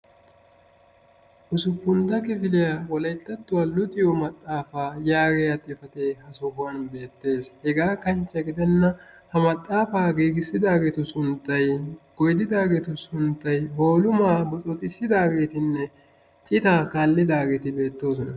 ussupuntta kifiliya wolayttattuwa luxiyo maxaafa yaagiya xifatee ha sohuwan beettees, hegaa kanchche gidenan ha maxaafa giigissidaagetu sunttay, goyddidaageetu sunttay, boolumaa boxooxissidaagetinne citaa kaallidaageeti beettoososna.